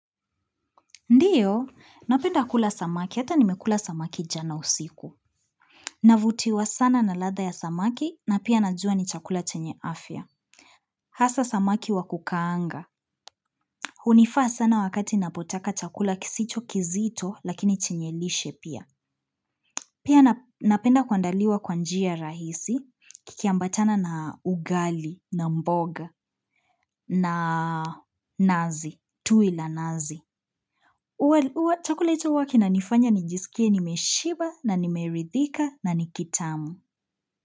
Ndiyo, napenda kula samaki, hata nimekula samaki jana usiku. Navutiwa sana na ladha ya samaki, na pia najua ni chakula chenye afya. Hasa samaki wakukaanga. Hunifaa sana wakati napotaka chakula kisicho kizito, lakini chenye lishe pia. Pia nape napenda kwa andaliwa kwanjia rahisi, kikiambatana na ugali, na mboga, na nazi, tui la nazi. Uwa uwa chakula hicho huwa kina nifanya nijisikie nimeshiba na nimeridhika na nikitamu.